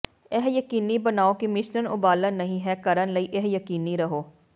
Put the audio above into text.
ਇਹ ਯਕੀਨੀ ਬਣਾਓ ਕਿ ਮਿਸ਼ਰਣ ਉਬਾਲਣ ਨਹੀ ਹੈ ਕਰਨ ਲਈ ਇਹ ਯਕੀਨੀ ਰਹੋ